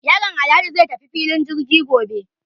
Yaron Alhaji zai tafi filin jirgi gobe.